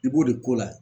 I b'o de k'o la